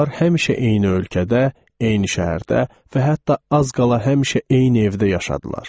Onlar həmişə eyni ölkədə, eyni şəhərdə və hətta az qala həmişə eyni evdə yaşadılar.